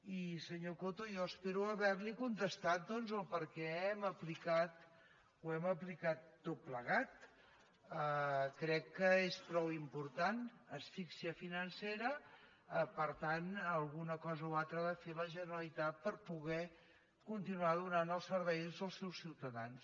i senyor coto jo espero haver li contestat doncs per què ho hem aplicat tot plegat crec que és prou important asfíxia financera per tant una cosa o altra ha de fer la generalitat per poder continuar donant els serveis als seus ciutadans